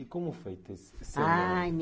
E como foi ter esse seu Ah